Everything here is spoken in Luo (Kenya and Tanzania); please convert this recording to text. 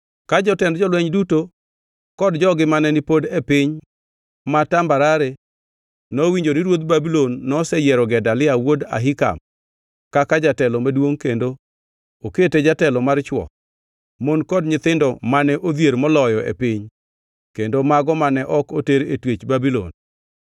Ka jotend jolweny duto kod jogi mane pod ni e piny ma tambarare nowinjo ni ruodh Babulon noseyiero Gedalia wuod Ahikam kaka jatelo maduongʼ kendo okete jatelo mar chwo, mon kod nyithindo mane odhier moloyo e piny kendo mago mane ok oter e twech Babulon,